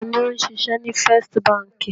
Ta ni ó ń ṣiṣẹ́ ní First Báńkì?